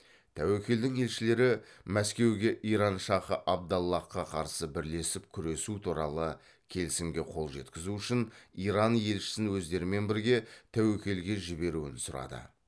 тәуекелдің елшілері мәскеуге иран шахы абдаллахқа қарсы бірлесіп күресуі туралы келісімге қол жеткізу үшін иран елшісін өздерімен бірге тәуекелге жіберуін сұрады